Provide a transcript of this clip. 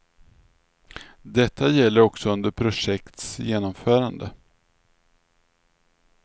Detta gäller också under projekts genomförande.